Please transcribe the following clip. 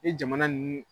Ni jamana ninnu